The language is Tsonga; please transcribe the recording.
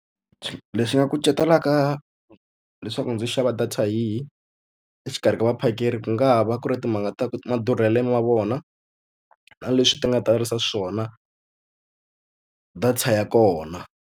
Leswi nga kucetelaka leswaku ndzi xava data yihi exikarhi ka vaphakeri ku nga va ku ri timhaka ta ku madurhelo ma vona, na leswi ti nga tarisa xiswona data ya kona.